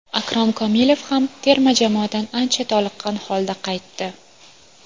Akrom Komilov ham terma jamoadan ancha toliqqan holda qaytdi.